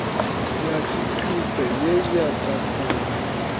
ya tshikriste ye ya sasaladza